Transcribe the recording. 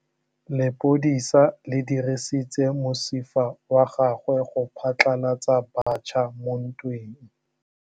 Lepodisa le dirisitse mosifa wa gagwe go phatlalatsa batšha mo ntweng.